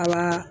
A b'a